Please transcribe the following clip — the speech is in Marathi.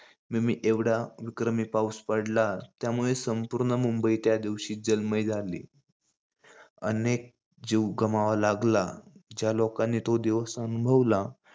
milimeter, एवढा विक्रमी पाउस पडला. त्यामुळे संपुर्ण मुंबई त्या दिवशी जलमय झाली. अनेक जीव गमवावा लागला. ज्या लोकांनी तो दिवस अनुभवला,